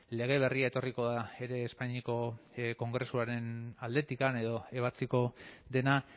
lege berria etorriko da ere espainiako kongresuaren aldetik edo ebatziko dena